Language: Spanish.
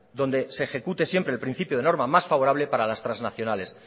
donde se ejecute siempre el principio de norma más favorable para las trasnacionales